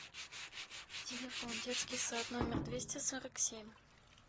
телефон детский сад номер двести сорок семь